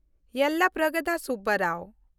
ᱭᱮᱞᱞᱟᱯᱨᱟᱜᱚᱫᱟ ᱥᱩᱵᱽᱵᱟᱨᱟᱣ